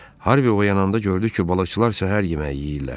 Harvi oyananda gördü ki, balıqçılar səhər yeməyi yeyirlər.